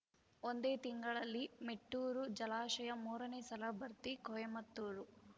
ಒಂದೇ ತಿಂಗಳಲ್ಲಿ ಮೆಟ್ಟೂರು ಜಲಾಶಯ ಮೂರನೇ ಸಲ ಭರ್ತಿ ಕೊಯಮತ್ತೂರು